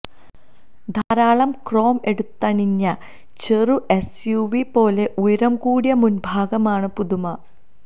ധാരാളം ക്രോം എടുത്തണിഞ്ഞ ചെറു എസ് യു വി പോലെ ഉയരം കൂടിയ മുൻഭാഗമാണ് പുതുമ